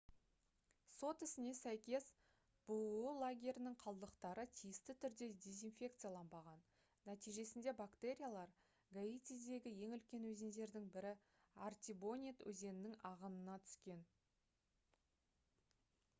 сот ісіне сәйкес бұұ лагерінің қалдықтары тиісті түрде дезинфекцияланбаған нәтижесінде бактериялар гаитидегі ең үлкен өзендердің бірі артибонит өзенінің ағынына түскен